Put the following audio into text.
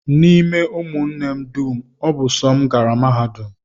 N'ime ụmụnne m dum, ọ bụ sọ m gara mahadum